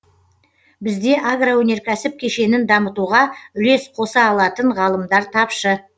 бізде агроөнеркәсіп кешенін дамытуға үлес қоса алатын ғалымдар тапшы